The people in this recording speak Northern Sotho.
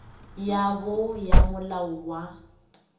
ya bo ya molao wa